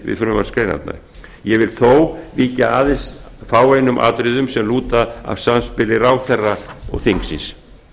við frumvarpsgreinarnar ég vil þó víkja aðeins að fáeinum atriðum sem lúta að samspili ráðherra og þingsins